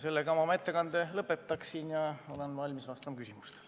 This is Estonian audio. Sellega ma oma ettekande lõpetan ja olen valmis vastama küsimustele.